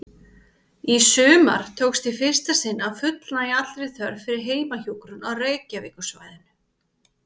Í sumar tókst í fyrsta sinn að fullnægja allri þörf fyrir heimahjúkrun á Reykjavíkursvæðinu.